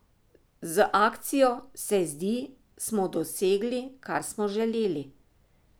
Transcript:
Z akcijo, se zdi, smo dosegli, kar smo želeli.